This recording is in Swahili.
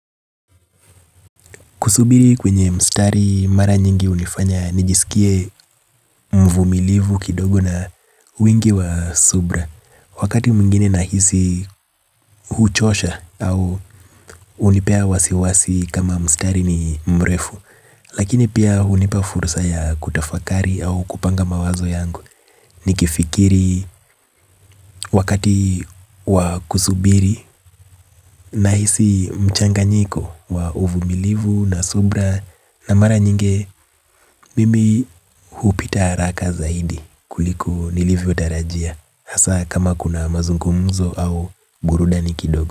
Kusubiri kwenye mstari mara nyingi hunifanya nijisikie mvumilivu kidogo na wingi wa subira. Wakati mwingine nahisi huchosha au hunipea wasiwasi kama mstari ni mrefu. Lakini pia hunipa fursa ya kutafakari au kupanga mawazo yangu. Nikifikiri wakati wa kusubiri nahisi mchanganyiko wa uvumilivu na subira. Na mara nyingi mimi hupita haraka zaidi kuliko nilivyotarajia hasa kama kuna mazungumzo au burudani kidogo.